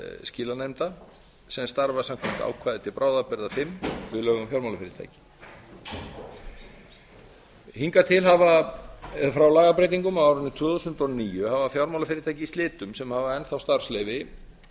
skilanefnda sem starfa samkvæmt ákvæði til bráðabirgða fimm við lög um fjármálafyrirtæki eigna til hafa frá lagabreytingum á árinu tvö þúsund og níu hafa fjármálafyrirtæki í slitum sem hafa enn þá starfsleyfi